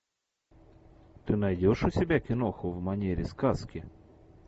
ты найдешь у себя киноху в манере сказки